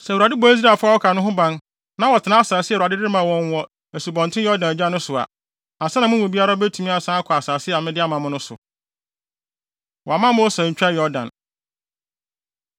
Sɛ Awurade bɔ Israelfo a wɔaka no ho ban na wɔtena asase a Awurade de rema wɔn wɔ Asubɔnten Yordan agya no so a, ansa na mo mu biara betumi asan akɔ asase a mede ama mo no so.” Wɔamma Mose Antwa Yordan